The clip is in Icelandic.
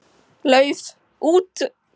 Lauf út.